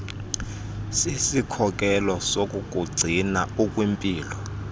sisikhokelo sokukugcina ukwimpilo